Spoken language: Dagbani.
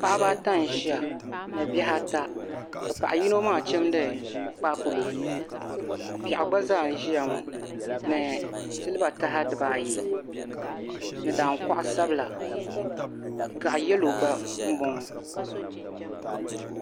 Paɣaba ata n ʒiya ni bihi ata ka paɣa yino maa chimdi kpaakpulo piɛɣu gba zaa n ʒiya ŋo ni silba taha dibaayi ni daankuɣu sabila gaɣa yɛlo gba n boŋo